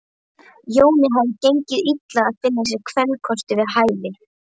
Jóni hafði gengið illa að finna sér kvenkost við hæfi.